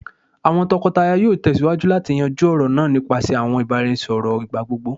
awọn tọkọtaya yoo tẹsiwaju lati yanju ọrọ naa nipasẹ awọn ibaraẹnisọrọ igbagbogbo